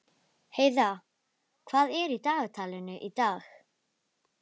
Heiða, hvað er í dagatalinu í dag?